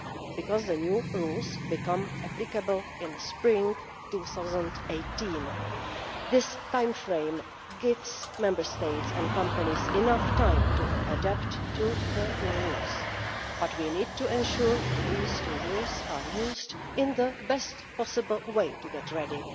Because the new rules become applicable in spring 2018, this timeframe gives Member States and companies enough time to adapt to the new rules, but we need to ensure these two years are used in the best possible way to get ready.